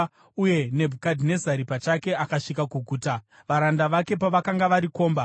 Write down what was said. uye Nebhukadhinezari pachake akasvika kuguta, varanda vake pavakanga vakarikomba.